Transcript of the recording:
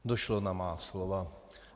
Došlo na má slova.